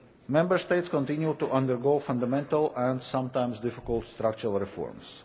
Member States continue to undergo fundamental and sometimes difficult structural reforms.